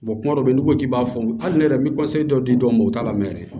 kuma dɔw la n'i ko k'i b'a fɔ hali ne yɛrɛ bɛ dɔ di dɔw ma o t'a la mɛ yɛrɛ